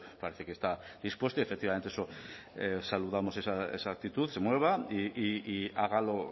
parece que está dispuesto y efectivamente eso saludamos esa actitud se mueva y haga lo